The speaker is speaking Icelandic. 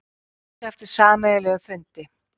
Óska eftir sameiginlegum fundi